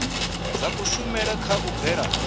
zwa kushumele kha u bvela